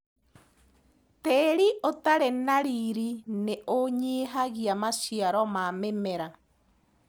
Tĩri ũtarĩ na riri nĩũnyihagia maciaro ma mĩmera.